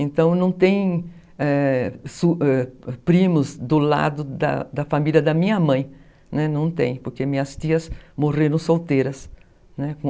Então não tem, é, primos do lado da família da minha mãe, não tem, porque minhas tias morreram solteiras.